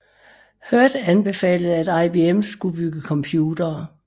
Hurd anbefalede at IBM skulle bygge computere